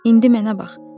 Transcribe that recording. İndi mənə bax.